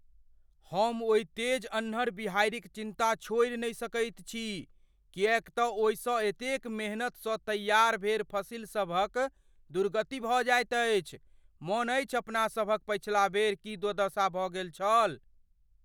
हम ओहि तेज अन्हर बिहाड़िक चिन्ता छोड़ि नहि सकैत छी किएकतँ ओहिसँ एतेक मेहनतसँ तैयार भेल फसिलसभक दुर्गति भऽ जाइत अछि। मन अछि अपना सभक पछिला बेर की दुर्दशा भऽ गेल छल?